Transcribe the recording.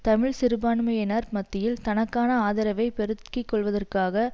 தமிழ் சிறுபான்மையினர் மத்தியில் தனக்கான ஆதரவை பெருக்கி கொள்வதற்காக